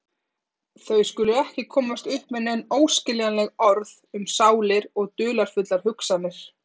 Þau skulu ekki komast upp með nein óskiljanleg orð um sálir og dularfullar hugsanir.